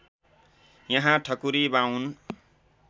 यहाँ ठकुरी बाउन